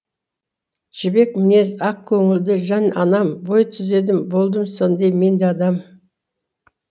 жібек мінез ақ көңілді жан анам бой түзедім болдым сондай менде адам